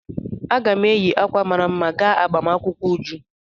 Aga m eyi ákwà mara mma gaa agbamakwụkwọ Uju.